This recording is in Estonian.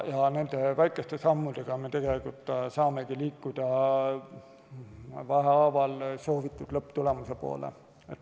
Nende väikeste sammudega me saamegi vähehaaval liikuda soovitud lõpptulemuse poole.